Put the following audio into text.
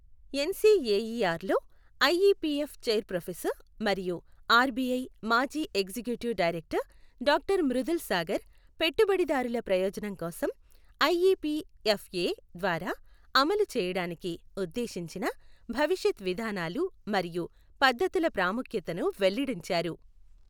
NCAER లో IEPF chair professor మరియు RBI మాజీ executive director doctor Mridul Sagar, పెట్టుబడిదారుల ప్రయోజనం కోసం ఐఈపీఎఫ్ఏ ద్వారా అమలు చేయడానికి ఉద్దేశించిన భవిష్యత్ విధానాలు మరియు పద్ధతుల ప్రాముఖ్యతను వెల్లడించారు.